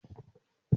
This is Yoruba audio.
Mo má ra òbo